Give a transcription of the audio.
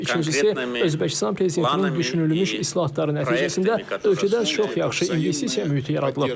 İkincisi, Özbəkistan prezidentinin düşünülmüş islahatları nəticəsində ölkədə çox yaxşı investisiya mühiti yaradılıb.